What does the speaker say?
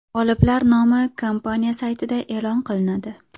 G‘oliblar nomi kompaniya saytida e’lon qilinadi.